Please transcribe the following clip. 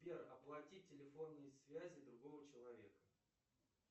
сбер оплати телефонные связи другого человека